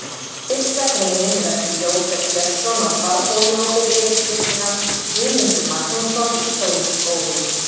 Fyrsta greinin er eftir Jósef Björnsson á Svarfhóli og ber yfirskriftina: Guðmundur Magnússon í Stóru-Skógum.